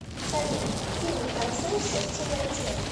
салют фильм танцующая в темноте